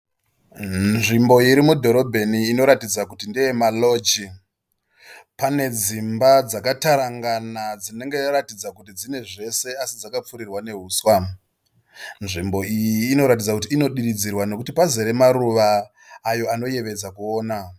Nzvimbo iri mudhorobheni inoratidza kuti ndeye maroji. Pane dzimba dzakatarangana dzinoratidza kuti dzine zvese asi dzakapfirirwa nehuswa. Nzvimbo iyi inoratidza kuti inodiridzirwa nekuti pazere maruva ayo anoyevedza kuona.